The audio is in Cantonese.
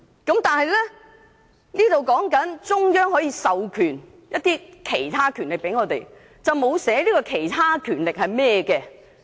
"條文只訂明中央可授予香港其他權力，但沒有指明這些其他權力是甚麼。